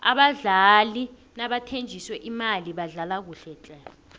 abadlali nabathenjiswe imali badlala kuhle tle